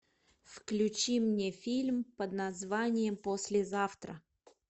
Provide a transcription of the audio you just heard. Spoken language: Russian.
включи мне фильм под названием послезавтра